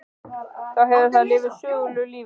Þú hefur þá lifað sögulegu lífi?